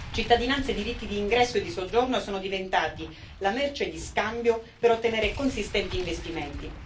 Cittadinanza e diritti d'ingresso e di soggiorno sono diventati la merce di scambio per ottenere consistenti investimenti.